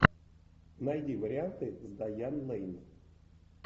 найди варианты с дайан лэйн